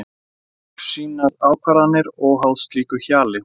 Hann tekur sínar ákvarðanir óháð slíku hjali.